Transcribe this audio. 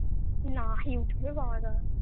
না youtube এ পাওয়া যাবে না